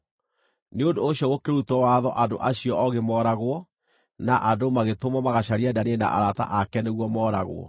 Nĩ ũndũ ũcio gũkĩrutwo watho andũ acio oogĩ mooragwo, na andũ magĩtũmwo magacarie Danieli na arata ake nĩguo mooragwo.